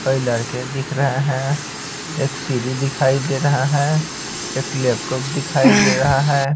कई लड़के दिख रहे हैं एक सीडी दिखाई दे रहा है एक लैपटॉप दिखाई दे रहा है।